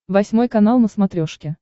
восьмой канал на смотрешке